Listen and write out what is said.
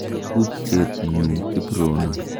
Tupchet nyu Kiprono.